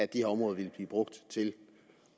de her områder ville blive brugt til